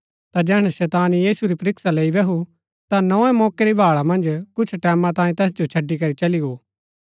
ता जैहणै शैतान यीशु री परीक्षा लैई बैहू ता नोए मौके री भाळा मन्ज कुछ टैमां तांई तैस जो छड़ी करी चली गो